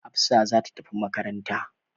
Hafsa za ta tafi makaranta.